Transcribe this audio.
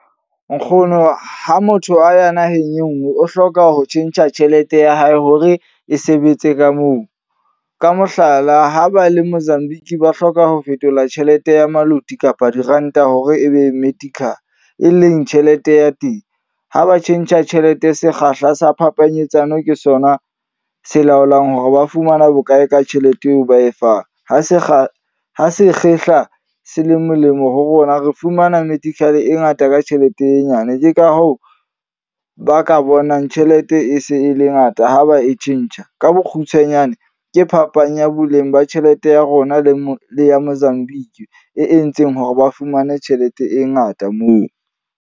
Nkgono ha motho a ya naheng e nngwe. O hloka ho tjhentjha tjhelete ya hae hore e sebetse ka moo. Ka mohlala, ha ba le Mozambique ba hloka ho fetola tjhelete ya maluti kapa diranta hore ebe e leng tjhelete ya teng. Ha ba tjhentjha tjhelete sekgahla sa phapanyetsano ke sona se laolang hore ba fumana bokae ka tjhelete eo ba e fang. Ha se kga, ha sekgehla se le molemo ho bona re fumana e ngata ka tjhelete e nyane. Ke ka hoo ba ka bonang tjhelete e se e le ngata ha ba e tjhentjha. Ka bokgutshwanyane, ke phapang ya boleng ba tjhelete ya rona le mo le ya Mozambique. E entseng hore ba fumane tjhelete e ngata moo.